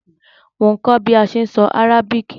Mo n kó bi a se n so Arabic